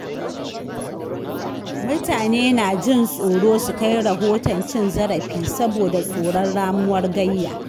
Mutane na jin tsoro su kai rahoton cin zarafi saboda tsoron ramuwar gayya.